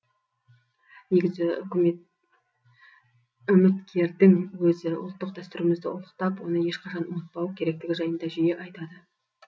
негізі үміткердің өзі ұлттық дәстүрімізді ұлықтап оны ешқашан ұмытпау керектігі жайында жиі айтады